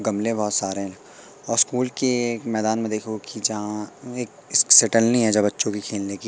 गमले बहोत सारे और स्कूल की एक मैदान में देखोगे की जहाँ एक है जहां बच्चों के खेलने की।